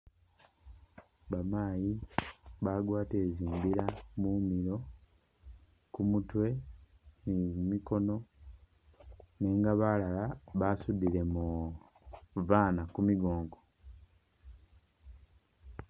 Bamaayi bagwatile zimbera mumilo kumutwe ni kumikoono nenga balala basudilemo babaana kumigongo